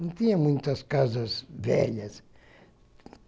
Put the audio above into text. Não tinha muitas casas velhas.